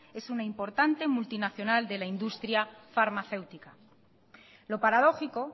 es una importante multinacional de la industria farmacéutica lo paradójico